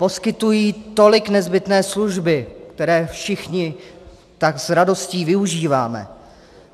Poskytují tolik nezbytné služby, které všichni tak s radostí využíváme.